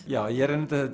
já